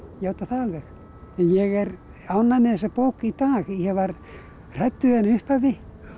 játa það alveg en ég er ánægð með þessa bók í dag ég var hrædd við hana í upphafi